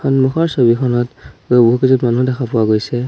সন্মুখৰ ছবিখনত বহুকেইজো মানুহ দেখা পোৱা গৈছে।